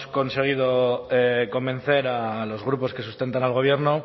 conseguido convencer a los grupos que sustentan al gobierno